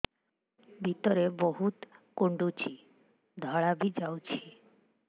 ଭିତରେ ବହୁତ କୁଣ୍ଡୁଚି ଧଳା ବି ଯାଉଛି